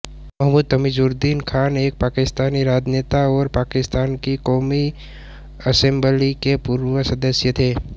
मुहम्मद तमीज़ुद्दीन खान एक पाकिस्तानी राजनेता और पाकिस्तान की क़ौमी असेम्बली के पूर्व सदस्य थे